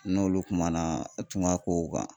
N n'olu kumana tunga kow kan